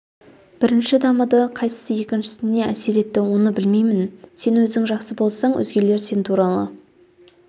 бірінші дамыды қайсысы екіншісіне әсер етті оны білмеймін сен өзің жақсы болсаң өзгелер сен туралы